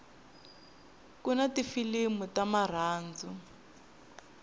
kuna tifilimu ta marhandzu